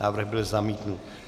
Návrh byl zamítnut.